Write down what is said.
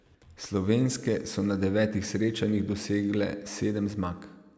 Slovenske so na devetih srečanjih dosegle sedem zmag.